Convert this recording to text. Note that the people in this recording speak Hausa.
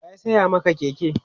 waya saya Maka Keke?